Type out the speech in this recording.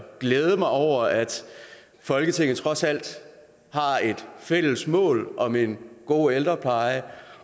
glæde mig over at folketinget trods alt har et fælles mål om en god ældrepleje